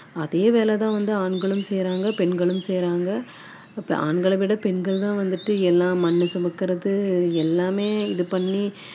ஆஹ் அது மட்டும் இல்லை இப்போ வந்து என்னதான் வந்துட்டு நம்ம பெண்களும் ஆண்களும் சமம் அப்படின்னு எல்லாம் சொன்னாலுமே வந்துட்டு நான் சொன்ன மாதிரி முந்தைய காலத்திலயும் இருந்தது இப்போ கட்டட வேலை பாத்தீங்கன்னா